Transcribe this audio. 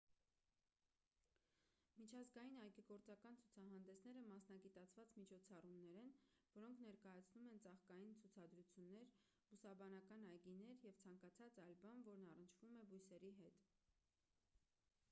միջազգային այգեգործական ցուցահանդեսները մասնագիտացված միջոցառումներ են որոնք ներկայացնում են ծաղկային ցուցադրություններ բուսաբանական այգիներ և ցանկացած այլ բան որն առնչվում է բույսերի հետ